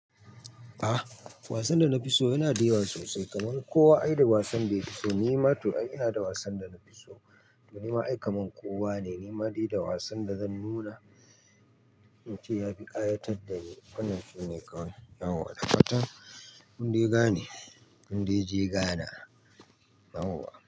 Ah, wasan da na fi so yana da yawa sosai, kamar kowa ai da wasan da ya fi so. Ni ma to ai inada wasan da na fi so. Ni ma ai kamar kowa ne. Ni ma dai da wasan da zan nuna, ince ya fi ƙayatar da ni. Wannan shine kawai na waɗanne fatan. Kun dai gane, kun dai je Ghana, yauwa.